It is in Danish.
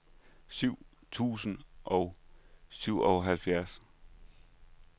syv tusind og syvoghalvfjerds